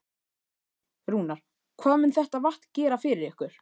Magnús: Rúnar, hvað mun þetta vatn gera fyrir ykkur?